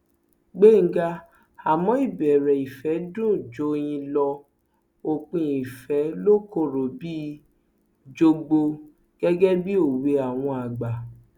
gbẹngà àmọ ìbẹrẹ ìfẹ dùn joyin lo òpin ìfẹ lọ kọrọ bíi jọgbó gẹgẹ bíi òwe àwọn àgbà